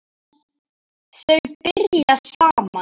Þau byrja saman.